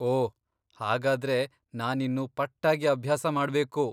ಓಹ್, ಹಾಗಾದ್ರೆ ನಾನಿನ್ನು ಪಟ್ಟಾಗಿ ಅಭ್ಯಾಸ ಮಾಡ್ಬೇಕು.